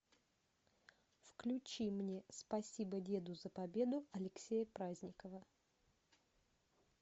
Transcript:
включи мне спасибо деду за победу алексея праздникова